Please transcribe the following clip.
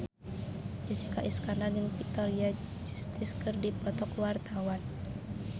Jessica Iskandar jeung Victoria Justice keur dipoto ku wartawan